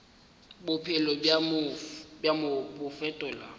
bophelo bja mo bo fetola